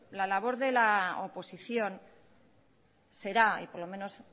la labor de la oposición será o por lo menos